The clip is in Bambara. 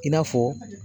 I n'a fɔ